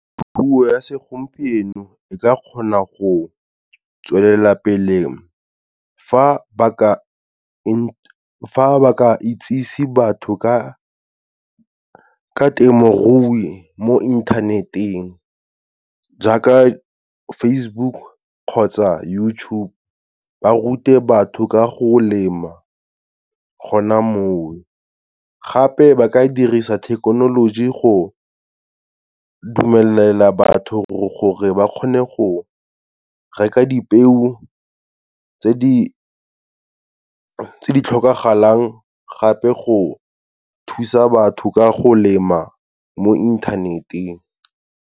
Puo ya segompieno, e ka kgona go tswelelapele fa ba ka itsise batho ka temorui mo internet-eng, jaaka Facebook kgotsa YouTube, ba rute batho ka go lema gona mo. Gape ba ka dirisa thekenoloji go dumelela batho gore ba kgone go reka dipeo tse di tlhokagalang gape go thusa batho ka go lema mo internet-eng.